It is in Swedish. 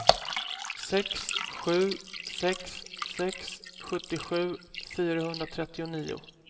sex sju sex sex sjuttiosju fyrahundratrettionio